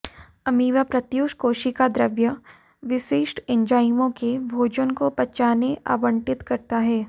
amoeba प्रोतयूस कोशिका द्रव्य विशिष्ट एंजाइमों कि भोजन को पचाने आवंटित करता है